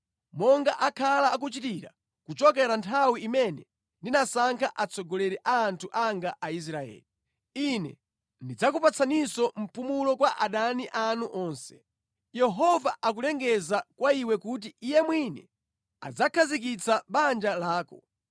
monga akhala akuchitira kuchokera nthawi imene ndinasankha atsogoleri a anthu anga Aisraeli. Ine ndidzakupatsaninso mpumulo kwa adani anu onse. “ ‘Yehova akulengeza kwa iwe kuti Iye mwini adzakhazikitsa banja lako: